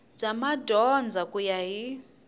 bya madyondza ku ya hi